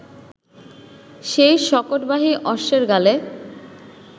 সেই শকটবাহী অশ্বের গলে